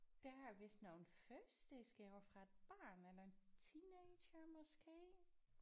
Der er vist nogle fødselsdagsgaver fra et barn eller en teenager måske